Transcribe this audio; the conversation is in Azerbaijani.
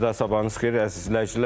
Bir daha sabahınız xeyir, əziz izləyicilər.